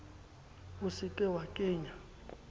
o se ke wa kenya